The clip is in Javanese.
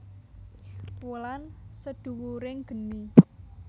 Wulan Sedhuwuring Geni